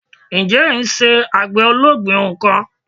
Ǹjẹ́ ẹ n se àgbè ológbìn ohun kan